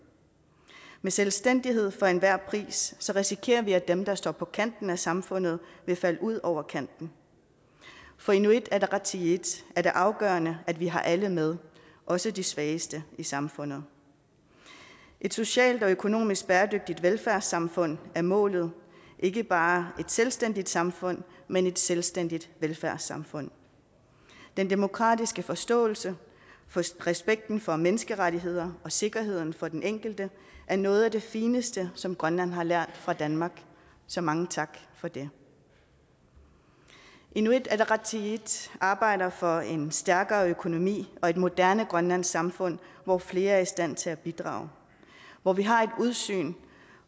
med selvstændighed for enhver pris risikerer vi at dem der står på kanten af samfundet vil falde ud over kanten for inuit ataqatigiit er det afgørende at vi har alle med også de svageste i samfundet et socialt og økonomisk bæredygtigt velfærdssamfund er målet ikke bare et selvstændigt samfund men et selvstændigt velfærdssamfund den demokratiske forståelse respekten for menneskerettigheder og sikkerheden for den enkelte er noget af det fineste som grønland har lært af danmark så mange tak for det inuit ataqatigiit arbejder for en stærkere økonomi og et moderne grønlandsk samfund hvor flere er i stand til at bidrage hvor vi har et udsyn